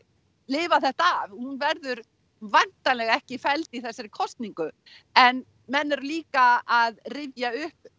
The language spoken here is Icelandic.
lifa þetta af hún verður væntanlega ekki felld í þessari kosningu en menn eru líka að rifja upp